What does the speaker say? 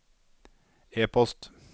e-post